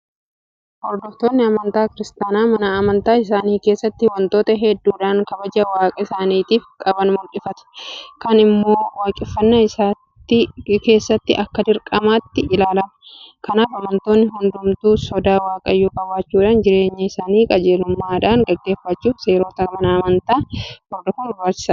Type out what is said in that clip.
Hordoftoonni amantaa kiristaanaa mana amantaa isaanii keessatti waantota hedduudhaan kabaja Waaqa isaaniitiif qaban mul'ifatu. Kun immoo waaqeffannaa keessatti akka dirqamaatti ilaalama. Kanaaf amantoonni hundumtuu sodaa waaqayyoo qabaachuudhaan jireenya isaanii qajeelummaadhaan gaggeeffachuudhaaf seerota mana amantaa hordofuun barbaachisaadha jedhamee amanama.